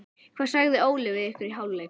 Hvað sagði Óli við ykkur í hálfleik?